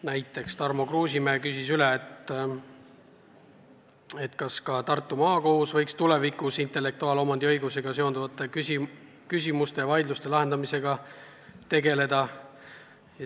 Näiteks Tarmo Kruusimäe küsis üle, kas ka Tartu Maakohus võiks tulevikus intellektuaalomandi õigusega seonduvate küsimuste vaidluste lahendamisega tegeleda.